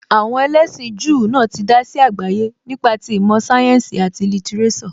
Àwọn ẹlẹ́sìn Júù náà tí dá sí àgbáyé nípa ti ìmọ̀ sáyẹ́ǹsì, àti lítíréṣọ̀.